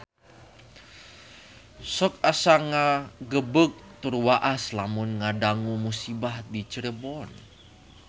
Sok asa ngagebeg tur waas lamun ngadangu musibah di Cirebon